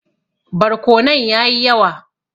Barkonon ya yi yawa.